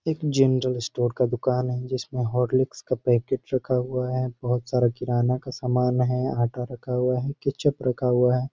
एक general store का दुकान है जिसमे हॉर्लिक्स का पैकेट रखा हुआ है बहुत सारा किराना का समान है आटा रखा हुआ है केचप रखा हुआ है।